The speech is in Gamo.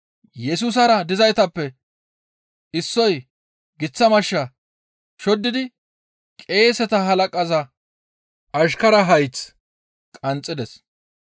Yesusara dizaytappe issoy giththa mashsha shoddidi qeeseta halaqaza ashkaraa hayth qanxxides.